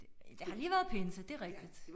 Det har lige været pinse det er rigtigt